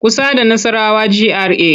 Kusa da Nassarawa GRA.